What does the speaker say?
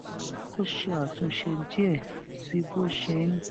ó ṣe àtúnṣe díè sí bó ṣe ń